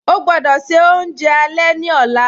Ọ̀ gbọdọ́ ṣẹ ọ̀unjẹ alẹ̀ ni ọ̀la